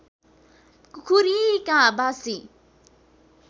कुखुरी काँ बासी